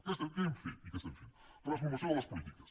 què hem fet i que estem fent transformació de les polítiques